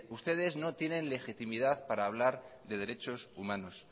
ustedes no tienen legitimidad para hablar de derechos humanos